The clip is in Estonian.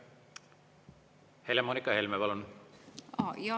Helle-Moonika Helme, palun!